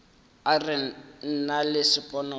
e re nna le sponono